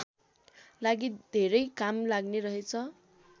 लागि धेरै काम लाग्ने रहेछ